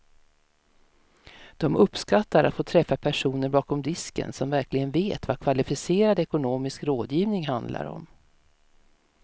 De uppskattar att få träffa personer bakom disken som verkligen vet vad kvalificerad ekonomisk rådgivning handlar om.